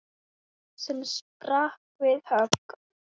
sem sprakk við högg.